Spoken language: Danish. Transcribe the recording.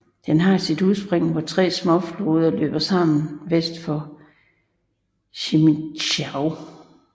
Den har sit udspring hvor tre småfloder løber sammen vest for Crimmitschau